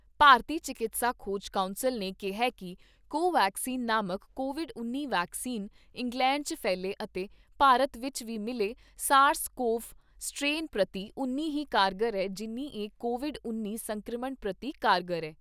ਭਾਰਤੀ ਚਿਕਿਤਸਾ ਖੋਜ ਕੌਂਸਲ ਨੇ ਕਿਹਾ ਕਿ ਕੋ ਵੈਕਸੀਨ ਨਾਮਕ ਕੋਵਿਡ ਉੱਨੀ ਵੈਕਸੀਨ, ਇੰਗਲੈਂਡ ਵਿਚ ਵੀ ਮਿਲੇ ਐੱਸਏਆਰਐੱਸ ਕੋਵ ਦੋ ਸਟ੍ਰੇਨ ਪ੍ਰਤੀ ਉਨੀ ਹੀ ਕਾਰਗਰ ਐ, ਜਿੰਨ੍ਹੀ ਇਹ ਕੋਵਿਡ ਉੱਨੀ ਸੰਕਰਮਣ ਪ੍ਰਤੀ ਕਾਰਗਰ ਐ।